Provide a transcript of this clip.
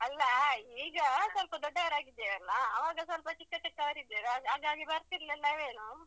ಅಲ್ಲ ಈಗ ಸ್ವಲ್ಪ ದೊಡ್ಡವರಾಗಿದ್ದೇವಲ್ಲಾ ಆವಾಗ ಸ್ವಲ್ಪ ಚಿಕ್ಕ ಚಿಕ್ಕ ಅವರಿದ್ದೆ ಹಾಗಾಗಿ ಬರ್ತಿರ್ಲಿಲ್ಲವೇನೋ.